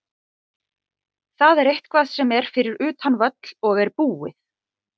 Það er eitthvað sem er fyrir utan völl og er búið.